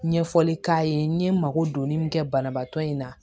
Ɲɛfɔli k'a ye n ye mako don ne min kɛ banabaatɔ in na